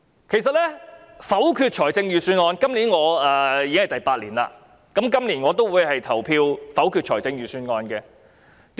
我多年來否決財政預算案，今年踏入第八年，我仍然會投票否決預算案。